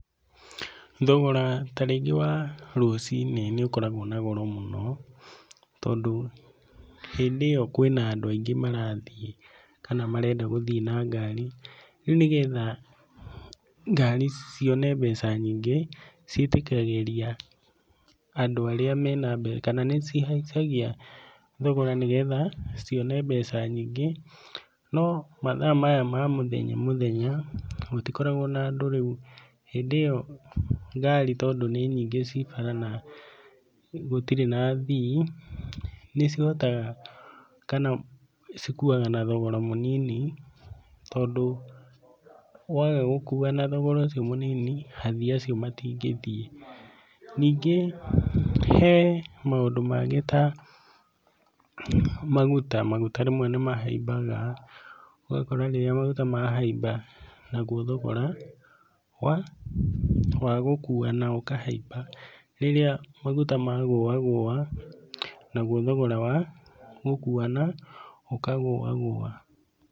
Thogora ta rĩngĩ wa rũciinĩ nĩ ũkoragwo na goro mũno, tondũ hĩndĩ ĩyo kwĩna andũ aingĩ marathiĩ kana marenda gũthiĩ na ngari. Rĩu nĩ getha ngari cione mbeca nyingĩ ciĩtĩkagĩria andũ arĩa mena mbeca kana nĩ cihaicagia thogora nĩ getha cione mbeca nyingĩ. No mathaa maya ma mũthenya, mũthenya gũtikoragwo na andũ rĩũ hĩndĩ ĩyo ngari tondũ nĩ nyingĩ cii bara na gũtirĩ na athii, nĩ cihotaga kana cikuaga na thogora mũnini. Tondũ waaga gũkua na thogora ũcio mũnini, athii acio matingithiĩ. Ningĩ he maũndũ mangĩ ta maguta, maguta rĩmwe nĩmahaimbaga, ũgakora rĩrĩa maguta mahaimba naguo thogora wa gũkuana ũkahaimba. Rĩrĩa maguta magũagũa naguo thogora wa gũkuana ũkagũagũa.